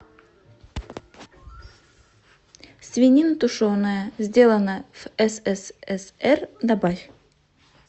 свинина тушеная сделано в ссср добавь